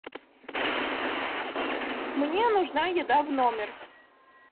мне нужна еда в номер